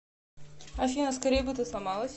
афина скорей бы ты сломалась